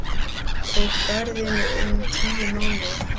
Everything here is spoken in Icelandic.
Tók ferðin um tíu mánuði.